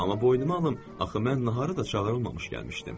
Amma boynuma alım, axı mən naharı da çağırılmamış gəlmişdim.